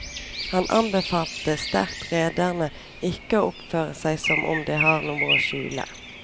Han anbefalte sterkt rederne ikke å oppføre seg som om de har noe å skjule.